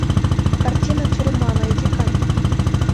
картина тюрьма найди ка